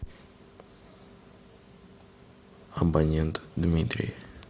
абонент дмитрий